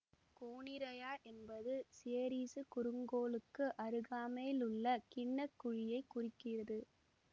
Coniraya என்பது Ceres குறுங்கோளுக்கு அருகாமையில் உள்ள கிண்ண குழியைக் குறிக்கிறது